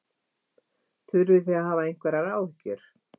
Þurfið þið að hafa einhverjar áhyggjur?